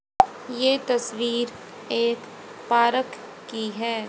ये तस्वीर एक पार्क की है।